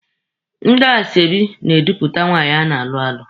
Ndị asoebi na-edupụta nwaanyị a na-alụ alụ.